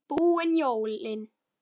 Búin jólin.